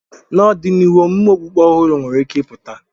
N'ọdịnihu, omume okpukpe ọhụrụ nwere ike ịpụta.